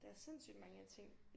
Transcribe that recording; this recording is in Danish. Det er sindssygt mange ting